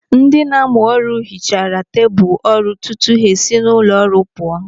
Ndị na-amụ ọrụ hichaara tebụl ọrụ tutu ha esi n'ụlọ ọrụ pụọ.